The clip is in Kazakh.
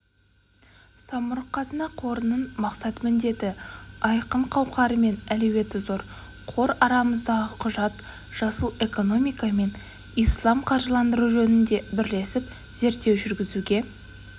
самұрық қазына қорының мақсат-міндеті айқын қауқары мен әлеуеті зор қор арамыздағы құжат жасыл экономика мен ислам қаржыландыруы жөнінде бірлесіп зерттеу жүргізуге